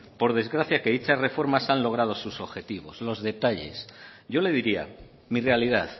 por desgracia que hecha reformas han logrado sus objetivos los detalles yo le diría mi realidad